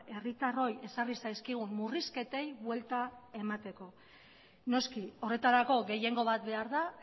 herritarroi ezarri zaizkigun murrizketei buelta emateko noski horretarako gehiengo bat behar da